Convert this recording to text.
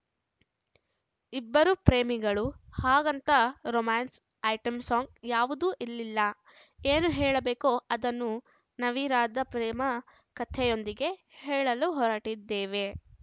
ಇಬ್ಬರು ಪ್ರೇಮಿಗಳು ಹಾಗಂತ ರೊಮಾನ್ಸ್‌ ಐಟಂ ಸಾಂಗ್ ಯಾವುದೂ ಇಲ್ಲಿಲ್ಲ ಏನು ಹೇಳಬೇಕೋ ಅದನ್ನು ನವಿರಾದ ಪ್ರೇಮ ಕತೆಯೊಂದಿಗೆ ಹೇಳ ಹೊರಟಿದ್ದೇವೆ